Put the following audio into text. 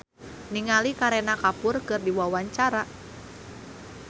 Inul Daratista olohok ningali Kareena Kapoor keur diwawancara